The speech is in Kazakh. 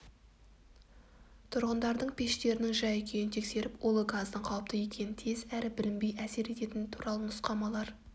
тұрғындардың пештерінің жай-күйін тексеріп улы газдың қауіпті екенін тез әрі білінбей әсер ететіні туралы нұсқамалар